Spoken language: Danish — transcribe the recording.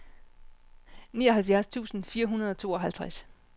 nioghalvfjerds tusind fire hundrede og tooghalvtreds